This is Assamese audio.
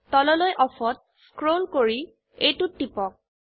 তললৈ Offত স্ক্ৰোল কৰি এইটোত টিপক